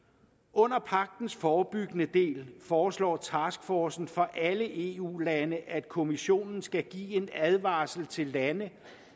under pagtens forebyggende del foreslår taskforcen for alle eu lande at kommissionen skal give en advarsel til de lande